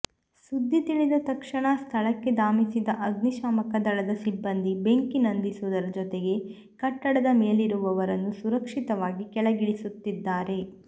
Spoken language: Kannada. ಸುದ್ದಿ ತಿಳಿದ ತಕ್ಷಣ ಸ್ಥಳಕ್ಕೆ ಧಾವಿಸಿದ ಅಗ್ನಿಶಾಮಕ ದಳದ ಸಿಬ್ಬಂದಿ ಬೆಂಕಿ ನಂದಿಸುವುದರ ಜೊತೆಗೆ ಕಟ್ಟಡದ ಮೇಲಿರುವವರನ್ನು ಸುರಕ್ಷಿತವಾಗಿ ಕೆಳಗಿಳಿಸುತ್ತಿದ್ದಾರೆ